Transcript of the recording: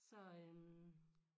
Så øh